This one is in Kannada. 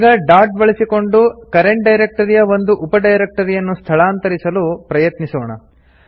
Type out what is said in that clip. ಈಗ ಡಾಟ್ ಬಳಸಿಕೊಂಡು ಕರೆಂಟ್ ಡೈರೆಕ್ಟರಿಯ ಒಂದು ಉಪ ಡೈರೆಕ್ಟರಿಯನ್ನು ಸ್ಥಳಾಂತರಿಸಲು ಪ್ರಯತ್ನಿಸೋಣ